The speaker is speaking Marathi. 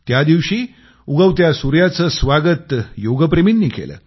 त्यादिवशी उगवत्या सूर्याचं स्वागत योगप्रेमींनी केलं